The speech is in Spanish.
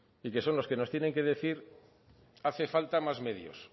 y que son los que nos tienen que decir hace falta más medios